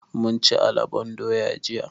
Mun ci alabon doya jiya.